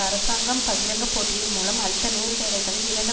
அரசாங்கம் பகிரங்கப் போட்டியின் மூலம் அளித்த நூறு வேலைகளில் இரண்டு